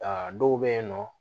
Aa dɔw bɛ yen nɔ